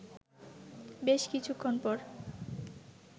বেশ কিছুক্ষণ পর